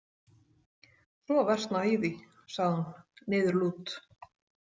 Svo versnaði í því, sagði hún niðurlút.